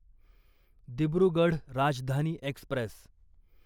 Dibrugarh Rajdhani Express